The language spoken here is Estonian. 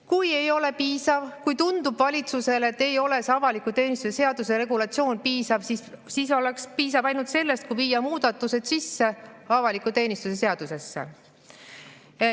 Kui ei ole piisav, kui valitsusele tundub, et see avaliku teenistuse seaduse regulatsioon ei ole piisav, siis piisaks ainult sellest, kui viia muudatused sisse avaliku teenistuse seadusesse.